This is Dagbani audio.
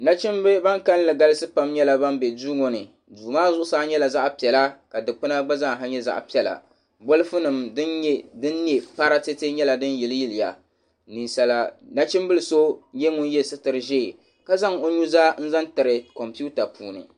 Nachimba ban kalinli galisi pam nyɛla ban be duu ŋɔ ni duu maa zuɣusaa nyɛla zaɣ'piɛla ka dukpuna gba zaaha nyɛ zaɣ'piɛla bolifunima din ne paratete nyɛla din yiliya nachimbila so nyɛ ŋun ye sitiri ʒee ka zaŋ o nuzaa zaŋ tiri komputa puuni.